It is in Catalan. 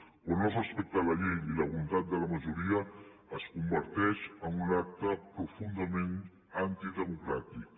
quan no es respecta ni la llei ni la voluntat de la majoria es converteix en un acte profundament antidemocràtic